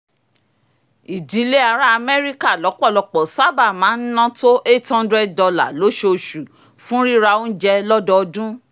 ìdílé ará amẹ́ríkà lọ́pọ̀lọpọ̀ sábà máa ń ná tó eight hundred dollar lójooṣù fún rírà oúnjẹ lódodun